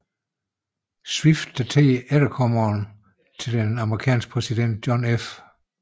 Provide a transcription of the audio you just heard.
Swift datede efterkommeren til den amerikanske præsident John F